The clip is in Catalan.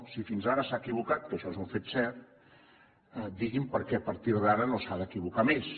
si fins ara s’ha equivocat que això és un fet cert digui’m perquè a partir d’ara no s’ha d’equivocar més